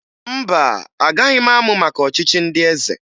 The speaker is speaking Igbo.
Mba, agaghị m amụ maka ọchịchị ndị eze